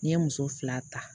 N'i ye muso fila ta